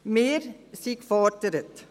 Wir sind gefordert.